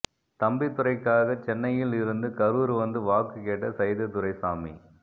தம்பிதுரைக்காக சென்னையில் இருந்து கரூர் வந்து வாக்கு கேட்ட சைதை துரைசாமி